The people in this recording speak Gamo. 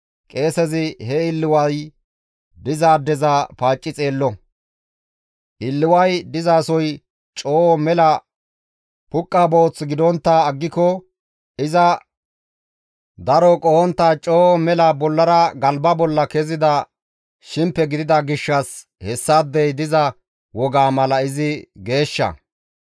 qeesezi he illiway dizaadeza paacci xeello; illiway dizasoy coo mela puqqa booth gidontta aggiko iza daro qohontta coo mela bollara galba bolla kezida shimpe gidida gishshas hessaadey diza wogaa mala izi geeshsha.